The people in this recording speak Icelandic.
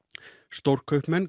stórkaupmenn